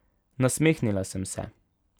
Nasmehnila sem se.